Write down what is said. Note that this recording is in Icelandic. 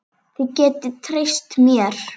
Þið getið treyst mér.